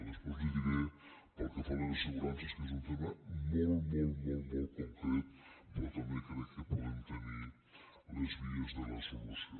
després li ho diré pel que fa a les assegurances que és un tema molt molt molt concret però també crec que podem tenir les vies de la solució